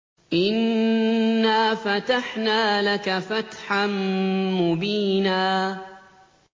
إِنَّا فَتَحْنَا لَكَ فَتْحًا مُّبِينًا